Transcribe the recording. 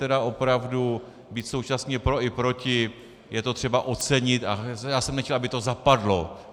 Tedy opravdu, být současně pro a proti, je to třeba ocenit a já jsem nechtěl, aby to zapadlo.